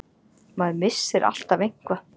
Maður missir alltaf eitthvað.